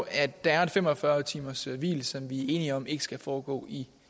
at der er et fem og fyrre timershvil som vi er enige om ikke skal foregå i